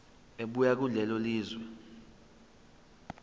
ebuya kulelo lizwe